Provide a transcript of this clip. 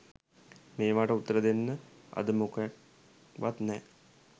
මේවට උත්තර දෙන්න අද මොකෙක්වත් නැ